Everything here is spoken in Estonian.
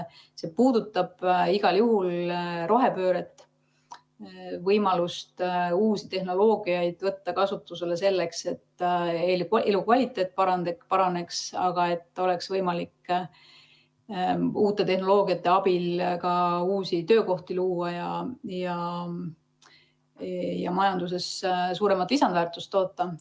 See puudutab igal juhul rohepööret, võimalust uusi tehnoloogiaid kasutusele võtta, selleks et elukvaliteet paraneks, et oleks võimalik uute tehnoloogiate abil ka uusi töökohti luua ja majanduses suuremat lisandväärtust toota.